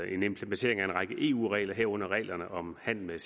en implementering af en række eu regler herunder reglerne om handel med